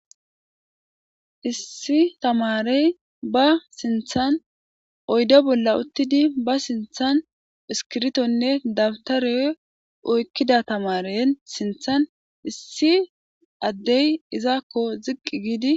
Issi tamaare ba sinthan oyde bolan uthidine ba sinthan iskiritone dawutare oykida tamaare sinthan issi ade izako ziqi giidi.